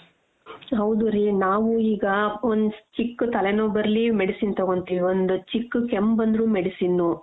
ಹೌದು ರೀ ನಾವು ಈಗ ಒಂದ್ ಚಿಕ್ಕು ತಲೆನೋವ್ ಬರ್ಲಿ medicine ತಗೋತೀವಿ ಒಂದ್ ಚಿಕ್ಕ್ ಕೆಮ್ಮ್ ಬಂದ್ರೂ medicine .